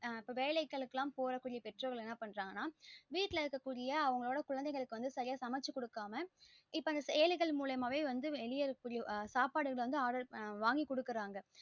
இப்ப வேலைகளுக்கு எல்லாம் போற பெற்றோர் என்ன பன்னுறாங்க அப்டின்னா வீட்டுல இருக்குற அவங்களோட குழந்தைகளுக்கு சரியா சமைச்சு குடுக்காம செயலிகள் மூலமாவே வந்து வெளிய இருக்க கூடிய சாப்டுகள வந்து order பன் வாங்கி குடுக்குறாங்க